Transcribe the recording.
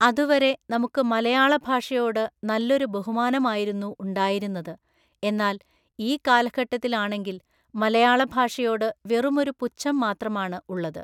അതുവരെ നമുക്ക് മലയാള ഭാഷയോട് നല്ലൊരു ബഹുമാനമായിരുന്നു ഉണ്ടായിരുന്നത്‌ എന്നാൽ ഈ കാലഘട്ടത്തിലാണെങ്കിൽ മലയാള ഭാഷയോട് വെറുമൊരു പുച്ഛം മാത്രാമാണ് ഉള്ളത്‌